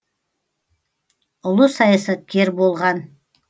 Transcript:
ұлы саясаткер болған